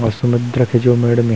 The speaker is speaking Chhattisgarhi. और समुद्र के जो मेढ़ मे--